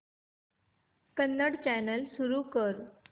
Kannada channel सुरू कर